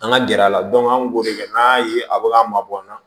An ka gɛrɛ a la an kun b'o kɛ n'an y'a ye a bɛ k'an mabɔ an na